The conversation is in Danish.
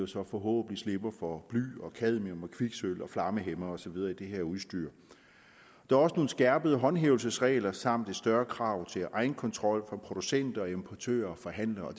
så forhåbentlig slipper for bly og cadmium og kviksølv og flammehæmmere og så videre i det her udstyr der er også nogle skærpede håndhævelsesregler samt et større krav til egenkontrol for producenter importører og forhandlere